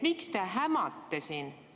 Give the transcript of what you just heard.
Miks te hämate siin?